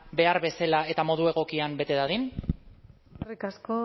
behar bezala eta modu egokian bete dadin eskerrik asko